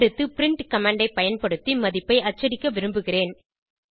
அடுத்து print command ஐ பயன்படுத்தி மதிப்பை அச்சடிக்க விரும்புகிறேன்